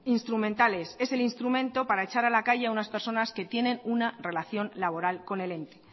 instrumental es es el instrumento para echar a la calle a unas personas que tienen una relación laboral con el ente